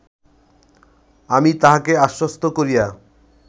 আমি তাহাকে আশ্বস্ত করিয়া